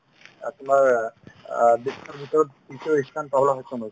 অ, তোমাৰ অ বিশ্ৱৰ ভিতৰত দ্বিতীয় ইস্থান পাবলৈ সক্ষম হৈছে